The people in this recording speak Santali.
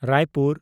ᱨᱟᱭᱯᱩᱨ